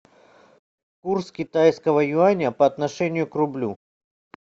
курс китайского юаня по отношению к рублю